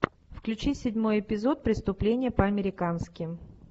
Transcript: включи седьмой эпизод преступление по американски